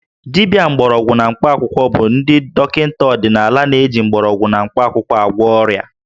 Dibịa mgbọrọgwụ na mkpaakwụkwọ bụ ndị dọkịta ọdịnala na-eji mgbọrọgwụ na mkpakwụkwọ agwọ ọrịa